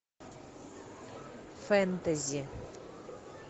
фэнтези